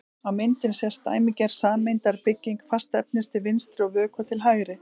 Á myndinni sést dæmigerð sameindabygging fastefnis til vinstri og vökva til hægri.